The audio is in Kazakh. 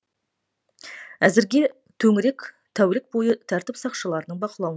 әзірге төңірек тәулік бойы тәртіп сақшыларының бақылауында